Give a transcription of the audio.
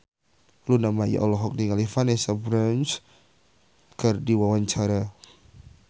Luna Maya olohok ningali Vanessa Branch keur diwawancara